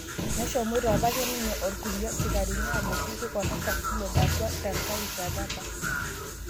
Neshomoita apake ninye orkulie sikarini ajo kipik oltasat Fulod atua tenkae rishata apa